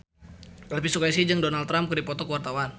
Elvi Sukaesih jeung Donald Trump keur dipoto ku wartawan